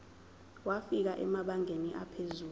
wafika emabangeni aphezulu